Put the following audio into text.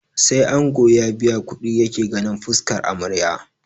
Sai ango ya biya kuɗi yake ganin fuskar amarya